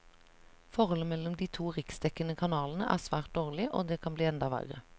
Forholdet mellom de to riksdekkende kanalene er svært dårlig, og det kan bli enda verre.